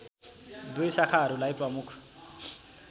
दुई शाखाहरूलाई प्रमुख